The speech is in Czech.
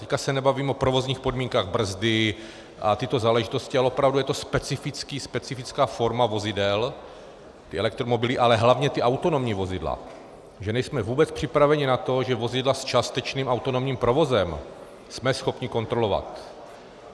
Teď se nebavím o provozních podmínkách, brzdy a tyto záležitosti, ale opravdu je to specifická forma vozidel, ty elektromobily, ale hlavně ta autonomní vozidla, že nejsme vůbec připraveni na to, že vozidla s částečným autonomním provozem jsme schopni kontrolovat.